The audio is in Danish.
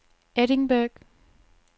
Edinburgh